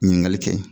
Ɲininkali kɛ